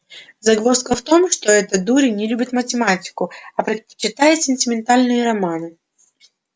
загвоздка в том что этот дурень не любит математику а предпочитает сентиментальные романы